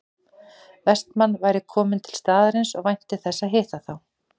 Vestmann væri kominn til staðarins og vænti þess að hitta þá